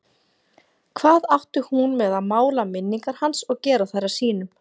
Hvað átti hún með að mála minningar hans og gera þær að sínum?